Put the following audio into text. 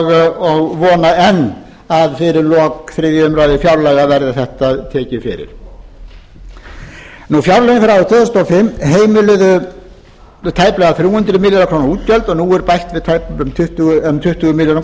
og vona enn að fyrir lok þriðju umræðu fjárlaga verði þetta tekið fyrir fjárlögin fyrir árið tvö þúsund og fimm heimiluðu tæplega þrjú hundruð milljarða króna útgjöld og nú er bætt við tæplega tuttugu milljörðum króna tekjurnar